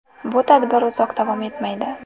Bu tadbir uzoq davom etmaydi.